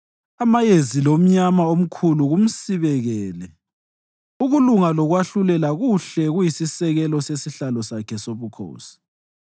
Amayezi lomnyama omkhulu kumsibekele; ukulunga lokwahlulela kuhle kuyisisekelo sesihlalo Sakhe sobukhosi.